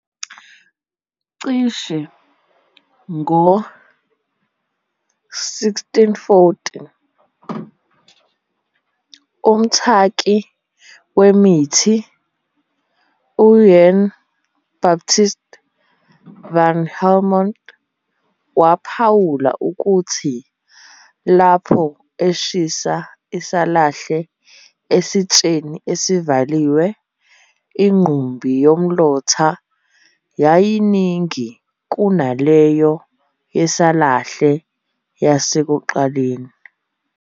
Cishe ngo-1640, umthaki wemithi Jan Baptist van Helmont waphawula ukuthi lapho eshisa isalahle esitsheni esivaliwe, inqumbi yomlotha yayiyiningi kunaleyo yesalahle yasekuqaleni.